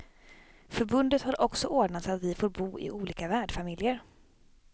Förbundet har också ordnat så att vi får bo i olika värdfamiljer.